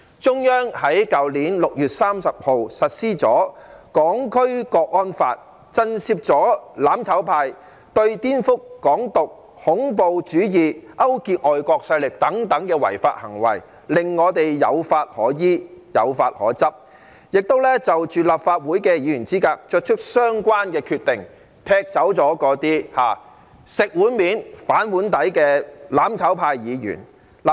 中央在去年6月30日實施了《香港國安法》，震懾了"攬炒派"顛覆、"港獨"、恐怖主義、勾結外國勢力等違法行為，令我們有法可依，有法可執；亦就立法會議員資格作出相關的決定，踢走了那些"食碗面、反碗底"的"攬炒派"議員。